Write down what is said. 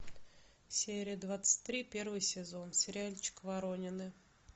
серия двадцать три первый сезон сериальчик воронины